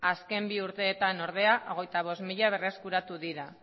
azken bi urteetan ordea hogeita bost mila berreskuratu dira